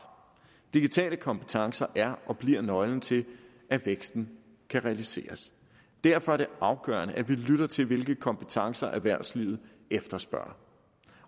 digitale kompetencer er og bliver nøglen til at væksten kan realiseres derfor er det afgørende at vi lytter til hvilke kompetencer erhvervslivet efterspørger